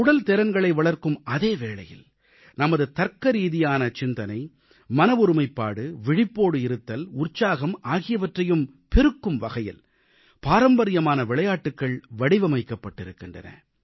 உடல்திறன்களை வளர்க்கும் அதே வேளையில் நமது தர்க்கரீதியான சிந்தனை மன ஒருமைப்பாடு விழிப்போடு இருத்தல் உற்சாகம் ஆகியவற்றையும் பெருக்கும்வகையில் பாரம்பரியமான விளையாட்டுகள் வடிவமைக்கப்பட்டிருக்கின்றன